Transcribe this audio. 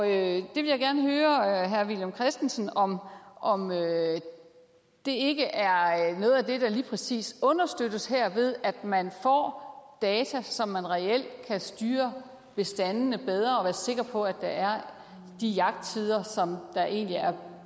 jeg vil gerne høre herre villum christensen om om det ikke er noget af det der lige præcis understøttes her ved at man får data så man reelt kan styre bestandene bedre og være sikker på at der er de jagttider som der egentlig er